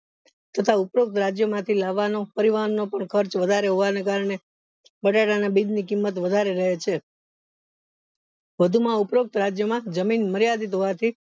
તથા ઉપરોક્ત રાજ્યો માંથી લાવવાનો પરિવહનનો પણ ખર્ચ વધારે હોવાના કરને બટેટા ના બીજ ની કિંમત વધારે રેય છે વધુ માં ઉપરોક્ત રાજ્યો માં જમીન માર્યાદિત હોવાથી